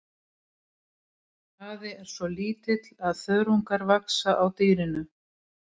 Þessi hraði er svo lítill að þörungar vaxa á dýrinu.